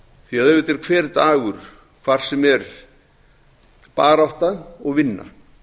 því að auðvitað er hver dagur hvar sem er barátta og vinna